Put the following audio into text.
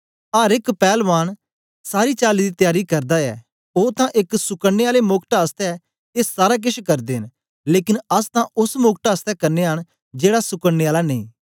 अर एक पैलवान सारी चाली दी त्यारी करदा ऐ ओ तां एक सुकडने आले मोकट आसतै ए सारा केछ करदे न लेकन अस तां ओस मोकट आसतै करनयां न जेड़ा सुकडने आला नेई